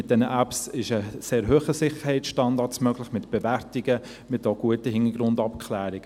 Mit diesen Apps ist ein sehr hoher Sicherheitsstandard möglich, mit Bewertungen und auch mit guten Hintergrundabklärungen.